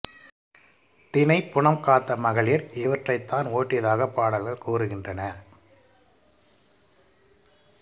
தினைப்புனம் காத்த மகளிர் இவற்றைத் தான் ஓட்டியதாகப் பாடல்கள் கூறுகின்றன